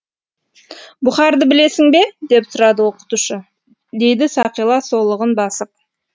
бұхарды білесің бе деп сұрады оқытушы дейді сақила солығын басып